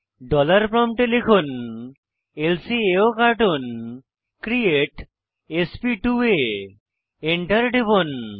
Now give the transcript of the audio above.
dollar প্রম্পটে লিখুন ল্কাওকার্টুন ক্রিয়েট sp2আ Enter টিপুন